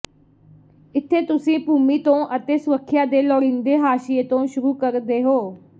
ਇੱਥੇ ਤੁਸੀਂ ਭੂਮੀ ਤੋਂ ਅਤੇ ਸੁਰੱਖਿਆ ਦੇ ਲੋੜੀਂਦੇ ਹਾਸ਼ੀਏ ਤੋਂ ਸ਼ੁਰੂ ਕਰਦੇ ਹੋ